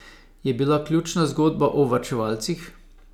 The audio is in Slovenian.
Je bila ključna zgodba o varčevalcih?